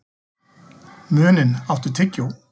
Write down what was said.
Muninn, áttu tyggjó?